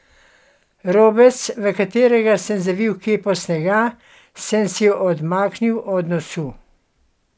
Robec, v katerega sem zavil kepo snega, sem si odmaknil od nosu.